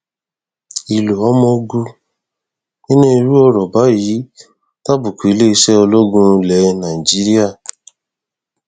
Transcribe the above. ìlò ọmọ ogun nínú irú ọrọ báyìí tàbùkù iléeṣẹ ológun ilẹ nàìjíríà